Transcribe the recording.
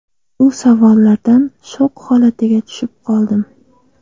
Bu savollardan shok holatiga tushib qoldim.